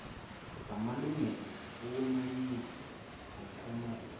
zamalungelo okumayina ngokwanoma